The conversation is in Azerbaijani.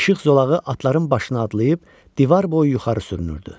İşıq zolağı atların başına adlayıb divar boyu yuxarı sürünürdü.